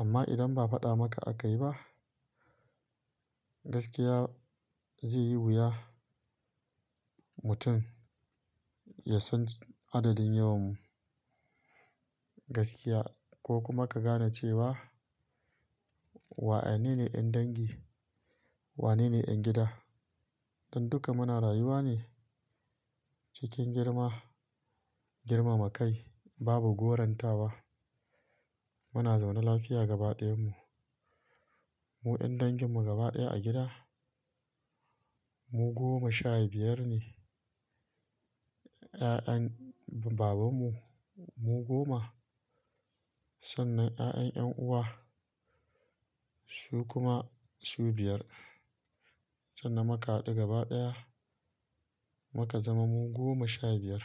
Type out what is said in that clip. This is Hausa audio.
Amma idan ba faɗa maka a kayi ba, gaskiya zai yi wuya, mutum ya san adadin yawanmu gaskiya ko kuma ka gane cewa, wanene ne ƴan dangi, wanene ƴan gida. Don duka muna rayuwa ne cikin girma, girmama kai, babu goranta wa. Muna zaune lafiya gaba ɗayanmu. Mu ƴan danginmu gaba ɗaya a gida mu goma shaibiyar ne. Ƴaƴan babanmu mu goma. Sannan ƴaƴan ƴan uwa su kuma shubiyar. Sannan muka haɗu gaba ɗaya muka zama mu goma shaibiyar.